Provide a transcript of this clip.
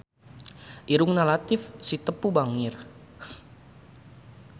Irungna Latief Sitepu bangir